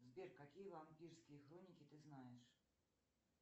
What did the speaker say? сбер какие вампирские хроники ты знаешь